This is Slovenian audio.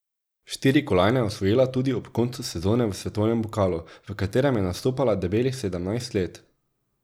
Štiri kolajne je osvojila tudi ob koncu sezone v svetovnem pokalu, v katerem je nastopala debelih sedemnajst let.